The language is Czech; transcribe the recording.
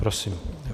Prosím.